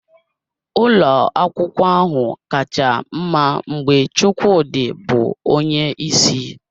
Ụlọ akwụkwọ ahụ kacha mma mgbe Chukwudi bụ onye isi